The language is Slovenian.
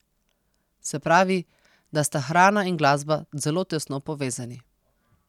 Se pravi, da sta hrana in glasba zelo tesno povezani.